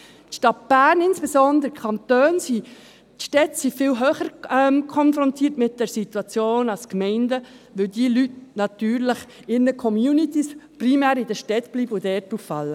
Die Stadt Bern, insbesondere die Kantone ... Die Städte sind viel mehr als die Gemeinden mit dieser Situation konfrontiert, weil diese Leute in ihren Communities natürlich primär in den Städten bleiben und dort auffallen.